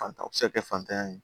Fantan bɛ se ka kɛ fantanya ye